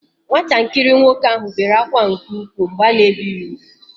Nwatakịrị nwoke ahụ bere akwa nke ụkwụ mgbe a na ebi ya ugwu